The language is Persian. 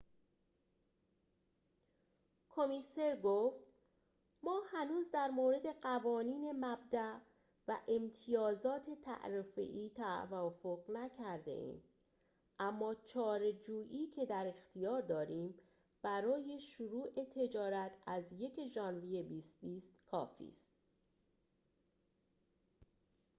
کمیسر گفت ما هنوز در مورد قوانین مبداء و امتیازات تعرفه‌ای توافق نکرده‌ایم اما چارچوبی که در اختیار داریم برای شروع تجارت از ۱ ژوئیه ۲۰۲۰ کافی است